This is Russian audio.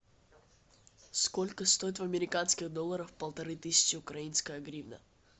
сколько стоит в американских долларах полторы тысячи украинская гривна